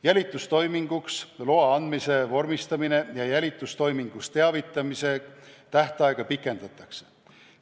Jälitustoiminguks loa andmise vormistamise ja jälitustoimingust teavitamise tähtaega pikendatakse.